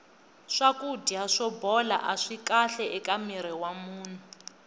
swakudya swo bola aswi kahle eka mirhi wa munhu